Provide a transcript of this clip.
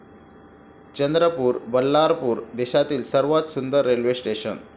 चंद्रपूर, बल्लारपूर देशातली सर्वात सुंदर रेल्वे स्टेशनं!